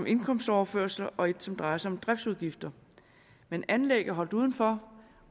indkomstoverførsler og et som drejer sig om driftsudgifter men anlæg er holdt udenfor